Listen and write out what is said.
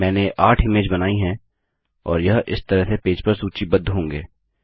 मैंने 8 इमेज बनाई हैं और यह इस तरह से पेज पर सूचीबद्ध होंगे